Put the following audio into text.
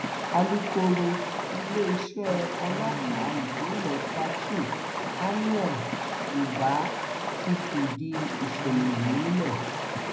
alūkkóró iléeṣẹ ọlọpàá ìpínlẹ plateau amir ubah ti fìdí ìṣẹlẹ yìí múlẹ